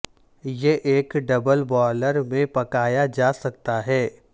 یہ ایک double boiler میں پکایا جا سکتا ہے